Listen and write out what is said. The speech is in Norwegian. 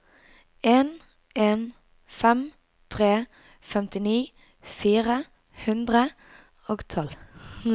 en en fem tre femtini fire hundre og tolv